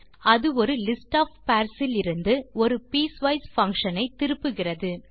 அது ஒரு list of pairs இலிருந்து ஒரு பீஸ்வைஸ் பங்ஷன் ஐ திருப்புகிறது